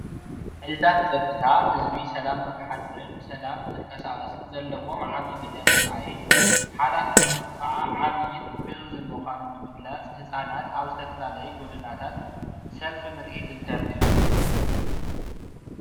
ዓይነታት ፀጥታ ህዝቢ ሰላም ንሓድርን ሰላም ንኽንቀሳቀስን ዘለዎም ዓብይ ግደ ንምርኣይ ሓላፍነቱ ከዓ ዓብይን ዕዙዝን ምኳኑ ንምግላፅ ህፃናት ኣብ ዝተፈላለዩ ጎደናታት ሰልፊ ምርኢት እንተርእዩ::